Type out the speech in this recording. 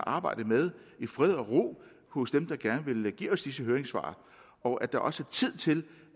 arbejdet med i fred og ro hos dem der gerne vil give disse høringssvar og at der også er tid til